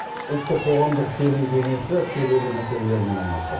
ұлттық қоғамдық сенім кеңесі келелі мәселелермен айналысады